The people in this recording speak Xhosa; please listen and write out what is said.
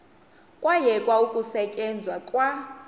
kwayekwa ukusetyenzwa kwa